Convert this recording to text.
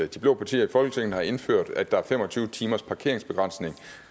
de blå partier i folketinget har indført at der er fem og tyve timers parkeringsbegrænsning